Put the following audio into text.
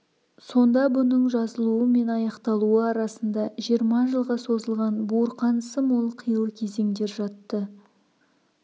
сонда бұның жазылуы мен аяқталуы арасында жиырма жылға созылған буырқанысы мол қилы кезеңдер жатты